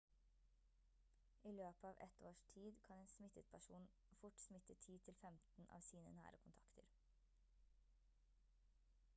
i løpet av ett års tid kan en smittet person fort smitte 10 til 15 av sine nære kontakter